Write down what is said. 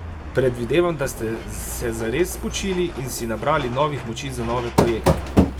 Predvidevam, da ste se zares spočili in si nabrali novih moči za nove projekte?